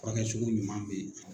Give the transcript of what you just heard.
Furakɛ cogo ɲuman be yen.